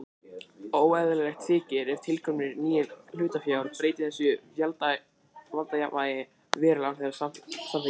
Óeðlilegt þykir ef tilkoma nýs hlutafjár breytti þessu valdajafnvægi verulega án þeirra samþykkis.